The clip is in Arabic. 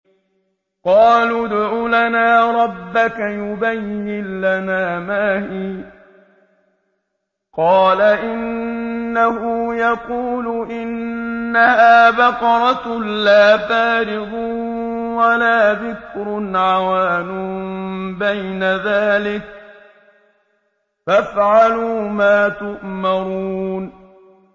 قَالُوا ادْعُ لَنَا رَبَّكَ يُبَيِّن لَّنَا مَا هِيَ ۚ قَالَ إِنَّهُ يَقُولُ إِنَّهَا بَقَرَةٌ لَّا فَارِضٌ وَلَا بِكْرٌ عَوَانٌ بَيْنَ ذَٰلِكَ ۖ فَافْعَلُوا مَا تُؤْمَرُونَ